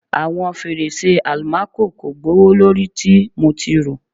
Awọn ferese almaco ko gbowolori ti mo ti ro